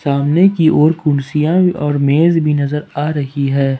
सामने की और कुर्सियां और मेज भी नजर आ रही है।